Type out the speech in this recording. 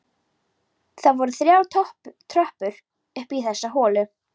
Það voru þrjár tröppur upp í þessa litlu holu.